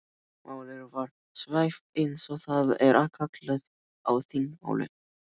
Málið var svæft eins og það er kallað á þingmáli.